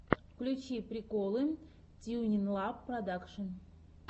включи приколы тьюнинлаб продакшн